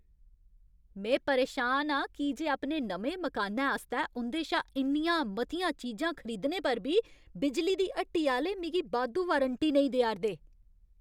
में परेशान आं की जे अपने नमें मकानै आस्तै उं'दे शा इन्नियां मतियां चीजां खरदीने पर बी बिजली दी हट्टी आह्‌ले मिगी बाद्धू वारंटी नेईं देआ 'रदे ।